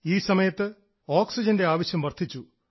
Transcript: ഈ സമയത്ത് ഓക്സിജൻറെ ആവശ്യം വർദ്ധിച്ചു